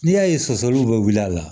N'i y'a ye sɔsɔliw bɛ wili a la